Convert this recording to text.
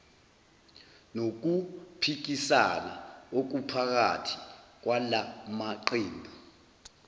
nokuphikisana okuphakathi kwalamaqembu